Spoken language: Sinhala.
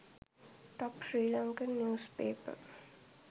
top sri lankan news paper